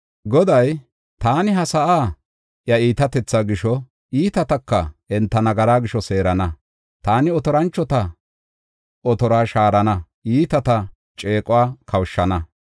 Goday, “Taani ha sa7aa iya iitatethaa gisho, iitataka enta nagara gisho seerana. Taani otoranchota otoruwa shaarana; iitata ceequwa kawushana.